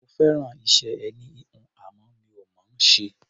Mo fẹ́ràn iṣẹ́ ẹní-híhun, àmọ́ mi ò mọ̀ ọ́n ṣe.